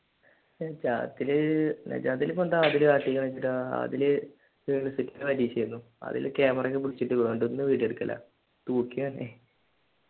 നജാത്തില് നജാത്തിൽ ഇപ്പോൾ എന്ത പരീക്ഷയായിരുന്നു അതില് ക്യാമറയൊക്കെ പിടിച്ചിട്ട്